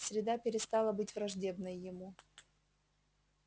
среда перестала быть враждебной ему